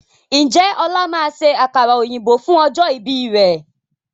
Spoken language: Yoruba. Ǹjẹ́ ọ̀la máa ṣe àkàrà òyìnbó fún ọjọ́ ìbí rẹ̀?